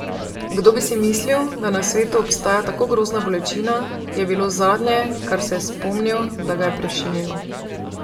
Kdo bi si mislil, da na svetu obstaja tako grozna bolečina, je bilo zadnje, kar se je spomnil, da ga je prešinilo.